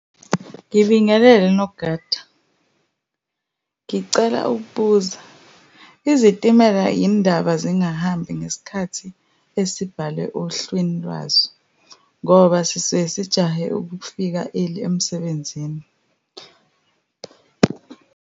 Ngibingelele nogada. Ngicela ukubuza, izitimela yini indaba zingahambi ngesikhathi esibhale ohlwini lwazo, ngoba sisuke sijahe ukufika early emsebenzini?